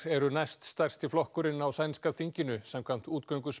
eru næst stærsti flokkurinn á sænska þinginu samkvæmt